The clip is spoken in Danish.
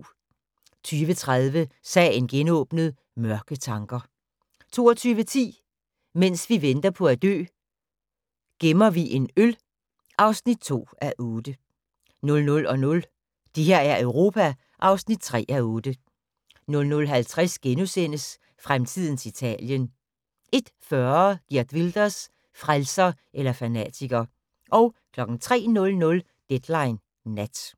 20:30: Sagen genåbnet: Mørke tanker 22:10: Mens vi venter på at dø - gemmer vi en øl (2:8) 00:00: Det her er Europa (3:8) 00:50: Fremtidens Italien * 01:40: Geert Wilders – frelser eller fanatiker 03:00: Deadline Nat